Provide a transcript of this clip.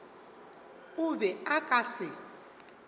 o be a ka se